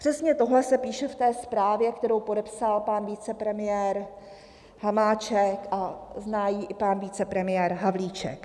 Přesně tohle se píše v té zprávě, kterou podepsal pan vicepremiér Hamáček a zná ji i pan vicepremiér Havlíček.